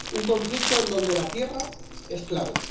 un conflicto en donde la tierra es clave.